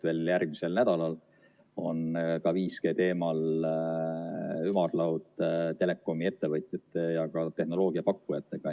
Veel järgmisel nädalal on 5G teemal ümarlaud telekomi ettevõtjate ja ka tehnoloogiapakkujatega.